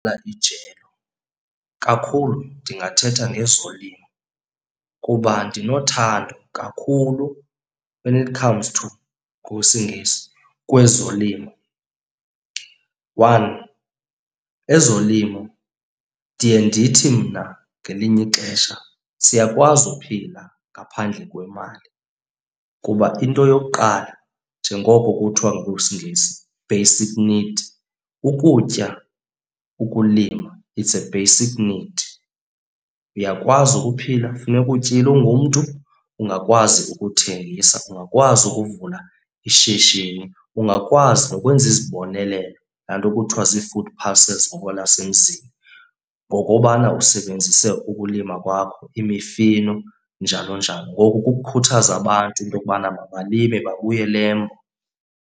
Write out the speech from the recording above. ijelo, kakhulu ndingathetha ngezolimo kuba ndinothando kakhulu when it comes to, ngokwesiNgesi, kwezolimo. One, ezolimo ndiye ndithi mna ngelinye ixesha siyakwazi ukuphila ngaphandle kwemali kuba into yokuqala njengoko kuthiwa ngokwesiNgesi, basic need, ukutya, ukulima it's a basic need. Uyakwazi ukuphila funeka utyile ungumntu, ungakwazi ukuthengisa, ungakwazi ukuvula ishishini. Ungakwazi nokwenza izibonelelo, laa nto kuthiwa zii-food parcels ngokwelasemzini ngokobana usebenzise ukulima kwakho imifino njalo njalo. Ngoku kukukhuthaza abantu into yokubana mabalime babuyele embo.